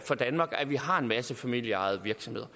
for danmark at vi har en masse familieejede virksomheder